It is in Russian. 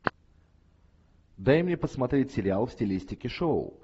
дай мне посмотреть сериал в стилистике шоу